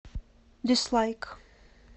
дизлайк